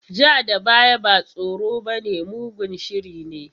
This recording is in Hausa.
Ja da baya ba tsoro bane, mugun shiri ne.